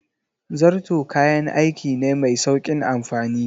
Zarto kayan aiki ne mai sauƙin amfani.